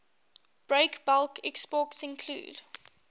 breakbulk exports include